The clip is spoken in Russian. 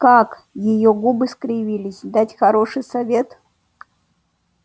как её губы скривились дать хороший совет